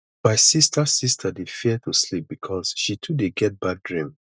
my sista sista dey fear to sleep because she too dey get bad dream